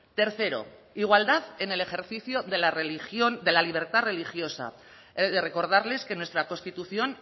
tercero igualdad en el ejercicio de la religión de la libertad religiosa he de recordarles que nuestra constitución